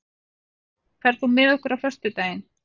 Kristbjörn, ferð þú með okkur á föstudaginn?